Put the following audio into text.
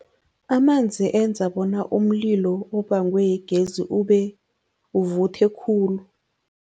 Amanzi enza bona umlilo obangwe yigezi uvuthe khulu.